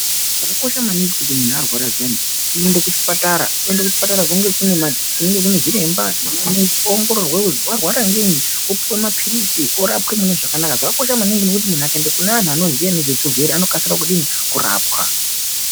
Chakakosha maningi kuti kana muntu arwara zviyani unoende kuchipatara, kunenge kunezviremba nemanesi, oongororwa kuti warwara ngei, opiwe maphiritsi orapwe mune zvakanaka. Zvakakosha maningi kuti muntu akaende kune vanoziva ngezvezvirwere, unokasira kudini, kurapwa.